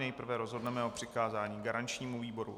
Nejprve rozhodneme o přikázání garančnímu výboru.